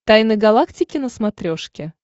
тайны галактики на смотрешке